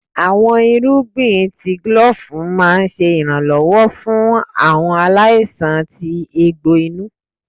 Awọn irugbin tí glove máà ń ṣe iranlọwọ fún awọn aláísàn tí eegbo inú.